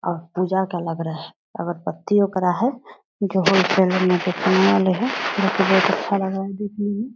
अब पूजा का लग रहा है अगरबत्ती ओकरा है जो होलसेल में बिकने वाली है जो की बहुत अच्छा लग रहा है देखने में।